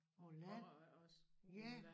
På æ land ja